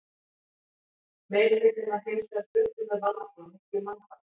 Meirihlutinn var hins vegar fluttur með valdi og miklu mannfalli.